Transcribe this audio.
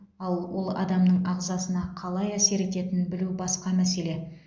ал ол адамның ағзасына қалай әсер ететінін білу басқа мәселе